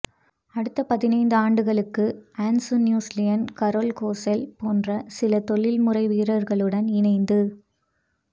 அடுத்த்த பதினைந்து ஆண்டுகளுக்கு Hans Nusslein Karel கொசெல் போன்ற சில தொழில் முறை வீரர்களுடன் இணைந்து